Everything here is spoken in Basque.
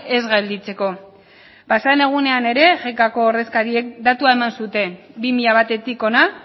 ez gelditzeko pasaden egunean ere ko ordezkariek datua eman zuten bi mila batetik hona